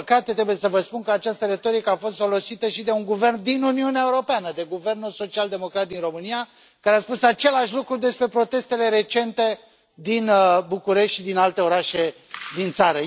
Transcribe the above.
Din păcate, trebuie să vă spun că această retorică a fost folosită și de un guvern din Uniunea Europeană, de guvernul social democrat din România, care a spus același lucru despre protestele recente din București și din alte orașe din țară.